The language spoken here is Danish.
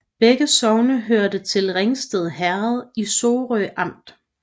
Begge sogne hørte til Ringsted Herred i Sorø Amt